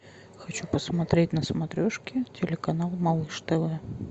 хочу посмотреть на смотрешке телеканал малыш тв